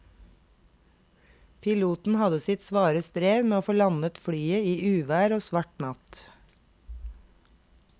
Piloten hadde sitt svare strev med å få landet flyet i uvær og svart natt.